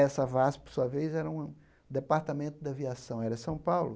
Essa VASP, por sua vez, era uma departamento da aviação aérea São Paulo.